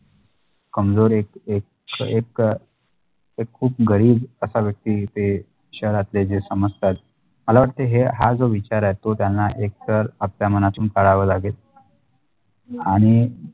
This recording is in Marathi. कमजोर एक एक एक एक खुप गरीब असा व्यक्ती ते शहरातले जे समजतात मला वाटते हे हा जो विचार आहे तो त्यांना एक तर आपल्या मनातून काढावे लागेल आणि